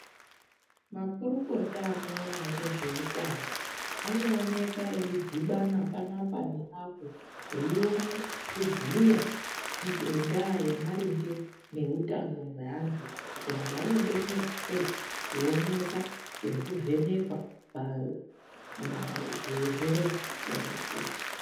Makurukota anoona ngezveutano anooneka eidhibana panapa neapo eione kubhuya ngendaa yemaringe neutano hwantu. Kuti antu anobetserwa sei kuononekwa nekuvhenekwa pamazvirwere zvakasiyana-siyana.